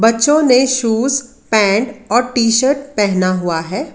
बच्चों ने shoes pant और टी शर्ट पहना हुआ है।